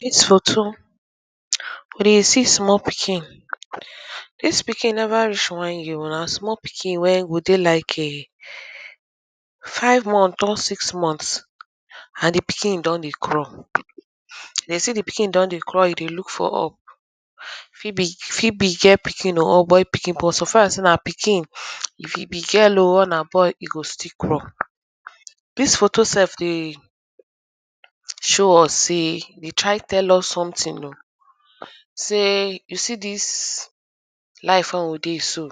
We dey see small pikin dis pikin neva reach one year but na small pikin wen go dey like five month or six month and di pikin don dey craw. De sey di pikin don dey craw e be look for up fi be fi be girl oikin or boy piki suffer sey na pikin, e be girl o or na boy, e go still crawl. Dis photo self dey show us sey dey try tell us something oh sey you see dis life wen we dey so,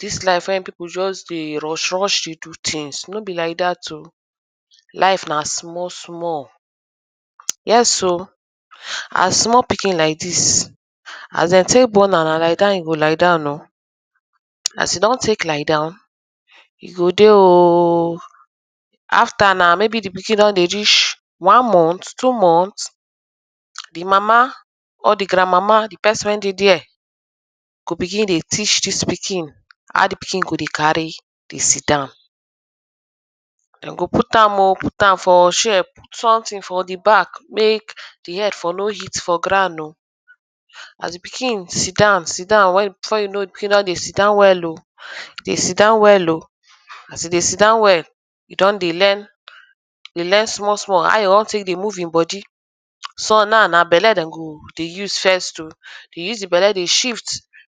dis life wen pipu just dey rush rush dey do things, no be like dat, life na small small as small pikin like dis, as dem tek born am, na lie down e go lie down oh. As e don tek lie down, e go dey oooooo afta na maybe di pikin don dey reach one month, two month, di mama or di grand-mama go pikin dey teach dis pikin, how di pikin go carry dey sit down. De go put am o ut am sfor chair put something for di back mek di head for no ht for grond oh, as di pkin dey sit down before you kow it e dey sit down well. As e dey sit down, e don dey learn small small how e won tek dey move e bodi. Some now na belle den go use dey use dey move e belle dey shift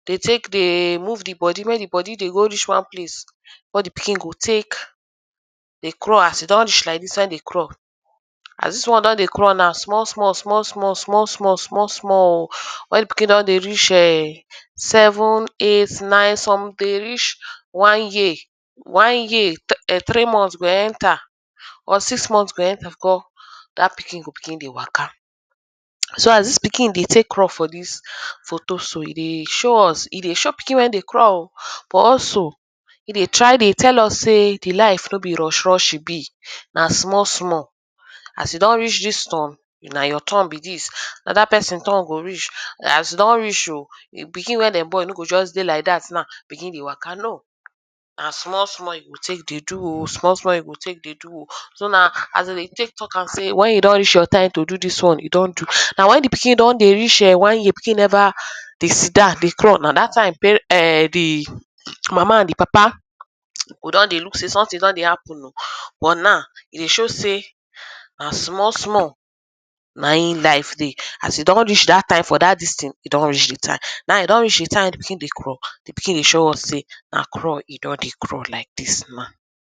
de tek dey move di bodi wen di bodi de reach wan place, di pikin go tek dey crawl as e don reach like dis wen dey crawl. As dis one don dey crawl now small small small small small small, small small oo, di pikin don dey reach[um]seven, eight, nine some dey reach one year, three month go enter dat pikin go begin dey waka. So as dis pikin dey tek craw for dis photo so, e dey show pikin wen dey craw oh, e dey try dey tell us sey di life no be rush rush e be na small small. As you don reach dis turn, na your turn be dis, anoda pesin turn go reach as you don reach o, pikin wen dem born dey like dat begin dey waka no. na small small e go tek dey do o small small you tek dey do o so na as de dey tek talk am wen e don reach your time to do dis won e don do. Na wen di pikin don dey reach one year, pikin neva dey sit down dey crawl, na dat time di mama and di papa go dey look sey something don dey happen o. but now e show sey na small small na in life dey. As e don reach dat time for dat dis thing, e don reach di time. Na e don reach di time e dey crawl, di pikin dey show us sey na crawl e dey crawl like dis now.